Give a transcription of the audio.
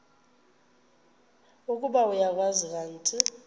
ukuba uyakwazi kanti